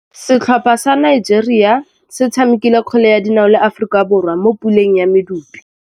Setlhopha sa Nigeria se tshamekile kgwele ya dinaô le Aforika Borwa mo puleng ya medupe.